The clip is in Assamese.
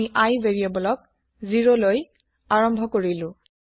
আমি ভেৰিয়েবল iক ০লৈ আৰম্ভ কৰিলো